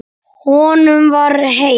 Honum var heitt.